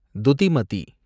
துதிமதி